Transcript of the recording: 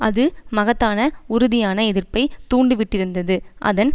அது மகத்தான உறுதியான எதிர்ப்பை தூண்டிவிட்டிருந்தது அதன்